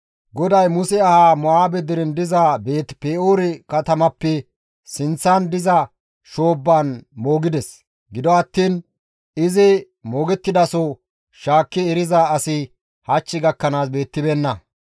GODAY Muse ahaa Mo7aabe deren diza Beeti-Pe7oore katamappe sinththan diza shoobbaan moogides; gido attiin izi moogettidaso shaakki eriza asi hach gakkanaas beettibeenna.